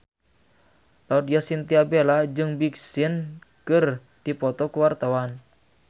Laudya Chintya Bella jeung Big Sean keur dipoto ku wartawan